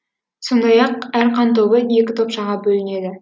сондай ақ әр қанды ой екі топшаға бөлінеді